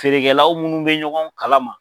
Feerekɛlaw munnu bɛ ɲɔgɔn kalama